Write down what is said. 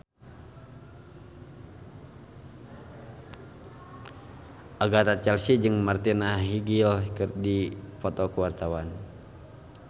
Agatha Chelsea jeung Martina Hingis keur dipoto ku wartawan